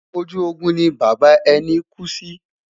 ojú Ogun ni bàbá ẹni ku sí